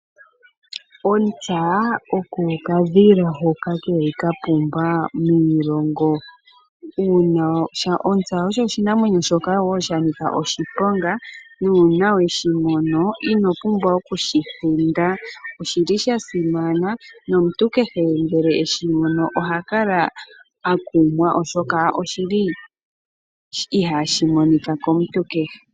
Ontsa oko okadhila hoka keli ka pumba miilongo. Ontsa osho oshinamwenyo shoka wo sha nika oshiponga, nuuna we shimono inopumbwa okushi hinda. Oshili sha simana, nomuntu kehe ngele eshimono oha kala akumwa oshoka ihashi monika komuntu kehe.